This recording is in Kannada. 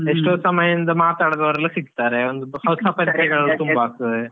ಎಷ್ಟೋ ಸಮಯಯಿಂದ ಮಾತಾಡದವರೆಲ್ಲ ಸಿಗ್ತಾರೆ ಒಂದ್ ಹೊಸ .